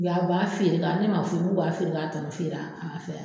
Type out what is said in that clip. U y'a u b'a feere ne man fɔ u ye u b'a feere u k'a tɔnɔ feere a fɛ